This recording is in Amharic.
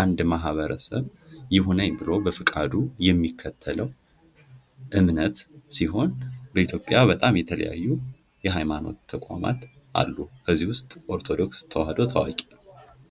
አንድ ማህበረሰብ ይሁነኝ ብሎ በፍቃዱ የሚከተለው እምነት ሲሆን በኢትዮጵያ በጣም የተለያዩ የሃይማኖት ተቋማት አሉ:: ከነዚህም ዉስጥ ኦርቶዶክስ ተዋህዶ ታዋቂ ነው:+